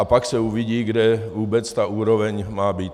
A pak se uvidí, kde vůbec ta úroveň má být.